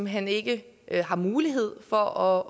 hen ikke har mulighed for